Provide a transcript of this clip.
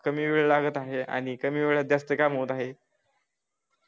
कमी वेळ लागत आहे आणि कमी वेळात जास्त काम होत आहे.